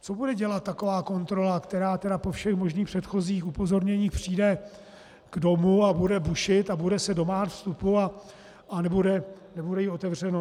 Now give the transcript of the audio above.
Co bude dělat taková kontrola, která tedy po všech možných předchozích upozornění přijde k domu a bude bušit a bude se domáhat vstupu, a nebude jí otevřeno?